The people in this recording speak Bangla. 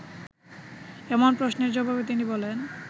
এমন প্রশ্নের জবাবে তিনি বলেন